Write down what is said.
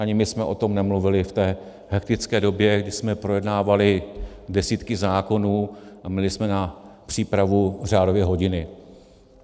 Ani my jsme o tom nemluvili v té hektické době, kdy jsme projednávali desítky zákonů a měli jsme na přípravu řádově hodiny.